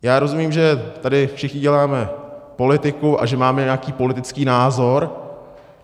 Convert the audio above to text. Já rozumím, že tady všichni děláme politiku a že máme nějaký politický názor.